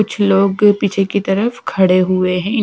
कुछ लोग पीछे की तरफ खड़े हुए हैं।